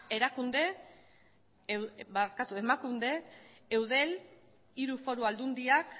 emakunde eudel hiru foru aldundiak